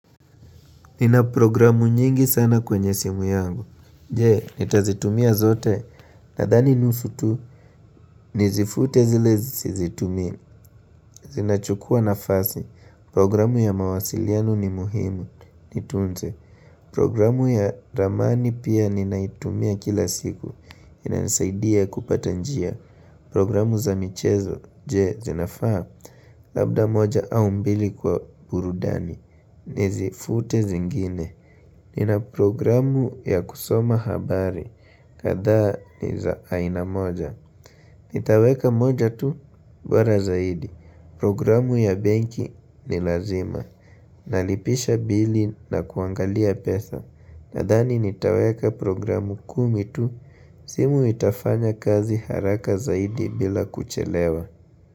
Nina programu nyingi sana kwenye simu yangu Jee, nitazitumia zote Nadhani nusu tu Nizifute zile sizitumii Zinachukua nafasi Programu ya mawasiliano ni muhimu Nitunze Programu ya ramani pia ninaitumia kila siku inanisaidia kupata njia Programu za michezo Jee, zinafaa Labda moja au mbili kwa burudani Nizifute zingine Nina programu ya kusoma habari, kadhaa ni za aina moja Nitaweka moja tu, bora zaidi Programu ya banki ni lazima Nalipisha bili na kuangalia pesa Nahdani nitaweka programu kumi tu, simu itafanya kazi haraka zaidi bila kuchelewa.